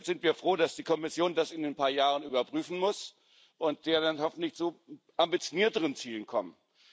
Deshalb sind wir froh, dass die Kommission das in ein paar Jahren überprüfen muss und wir dann hoffentlich zu ambitionierteren Zielen kommen.